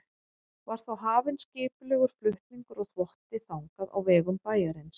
Var þá hafinn skipulegur flutningur á þvotti þangað á vegum bæjarins.